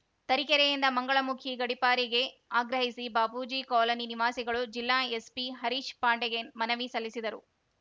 ತರೀಕೆರೆಯಿಂದ ಮಂಗಳಮುಖಿ ಗಡಿಪಾರಿಗೆ ಆಗ್ರಹಿಸಿ ಬಾಪೂಜಿ ಕಾಲೋನಿ ನಿವಾಸಿಗಳು ಜಿಲ್ಲಾ ಎಸ್ಪಿ ಹರೀಶ್‌ ಪಾಂಡೆಗೆ ಮನವಿ ಸಲ್ಲಿಸಿದರು